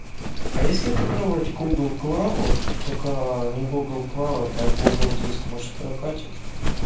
а если попробовать гугл клауд только не гугл клауд а гугл диск может прокатит